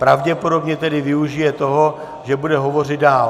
Pravděpodobně tedy využije toho, že bude hovořit dál.